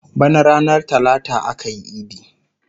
Bana ranar talata akayi idi